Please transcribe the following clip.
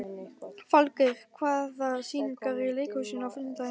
Falgeir, hvaða sýningar eru í leikhúsinu á fimmtudaginn?